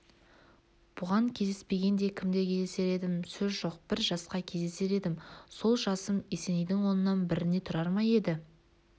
бұған кездеспегенде кімге кездесер едім сөз жоқ бір жасқа кездесер едім сол жасым есенейдің оннан біріне тұрар ма еді